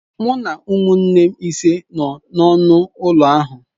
Mụ na ụmụnne m ise nọ n'ọnụ ụlọ ahụ.